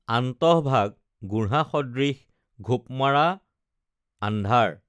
আন্তঃ ভাগ গুঢ়া সদৃশ ঘোপমাৰা আন্ধাৰ